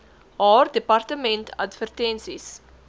haar departement advertensies